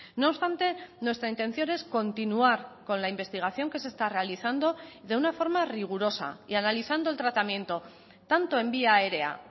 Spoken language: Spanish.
no obstante nuestra intención es continuar con la investigación que se está realizando de una forma rigurosa y analizando el tratamiento tanto en vía aérea